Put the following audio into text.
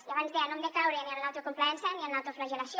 i abans deia no hem de caure ni en l’autocomplaença ni en l’autoflagel·lació